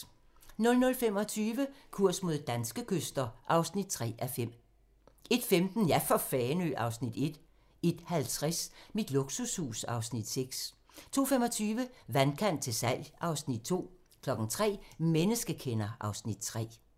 00:25: Kurs mod danske kyster (3:5) 01:15: Ja for Fanø! (Afs. 1) 01:50: Mit luksushus (Afs. 6) 02:25: Vandkant til salg (Afs. 2) 03:00: Menneskekender (Afs. 3)